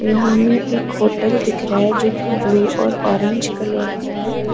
यहां में एक होटल दिख रहा है जो की ब्लू और ऑरेंज कलर का है।